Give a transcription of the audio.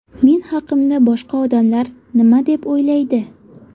Men haqimda boshqa odamlar nima deb o‘ylaydi ?